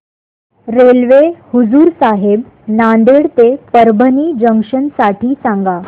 railway Hazur Sahib Nanded ते Parbhani junction साठी सांगा